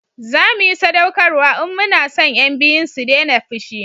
zamu yi sadaukarwa in mu na son yan biyun su dena fushi